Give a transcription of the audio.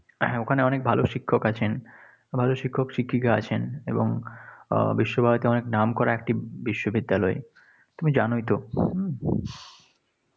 ওখানে অনেক ভালো শিক্ষক আছেন, ভালো শিক্ষক শিক্ষিকা আছেন এবং উম বিশ্বভারতী অনেক নামকরা একটি বিশ্ববিদ্যালয়। তুমি জানই তো।